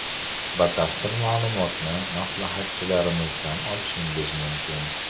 Batafsil ma’lumotni maslahatchilarimizdan olishingiz mumkin.